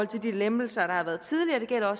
de lempelser der har været tidligere